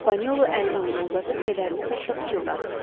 Panolu əlini ona uzadıb kədərli səslə pıçıldadı.